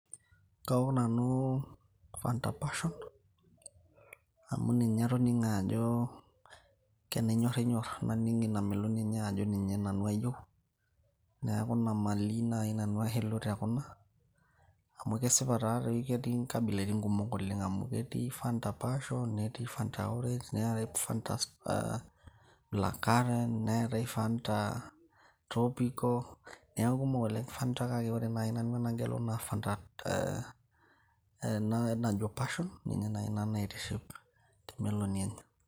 kaok nanu fanta passion amu ninye atoning'o ajo kenyorrinyorr naning ina meloni enye ajo ninye nanu ayieu neeku ina maliy naaji nanu ashilu tekuna amu kesipa taatoi ketii inkabilaitin kumok amu ketii fanta passion netii fanta orange neetae fanta black current neetae fanta tropical neeku kumok oleng fanta kake ore naaji nanu enagelu naa fanta ena najo passion ninye naaji nanu naitishipi temeloni enye.